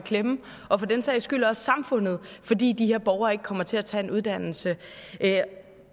i klemme og for den sags skyld også samfundet fordi de her borgere ikke kommer til at tage en uddannelse